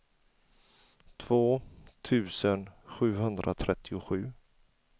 två tusen sjuhundratrettiosju